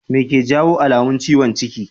Me ke jawo alamun ciwon ciki?